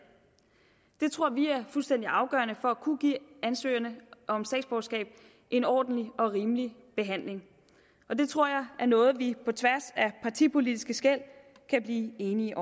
det tror vi er fuldstændig afgørende for at kunne give ansøgerne om statsborgerskab en ordentlig og rimelig behandling og det tror jeg er noget vi på tværs af partipolitiske skel kan blive enige